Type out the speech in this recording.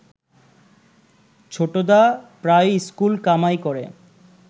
ছোটদা প্রায়ই ইস্কুল কামাই করে